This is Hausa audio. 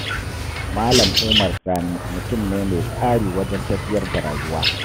Malam Umar Sani mutum ne mai tsari wajen tafiyar da rayuwa.